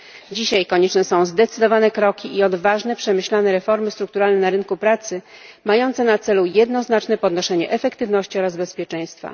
Dzisiaj konieczne są zdecydowane kroki i odważne, przemyślane reformy strukturalne na rynku pracy mające na celu jednoznaczne podnoszenie efektywności oraz bezpieczeństwa.